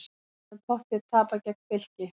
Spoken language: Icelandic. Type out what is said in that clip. Hefðum pottþétt tapað gegn Fylki